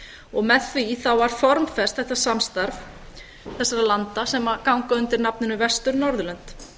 og með því þá var formfest þetta samstarf þessara landa sem ganga undir nafninu vestur norðurlönd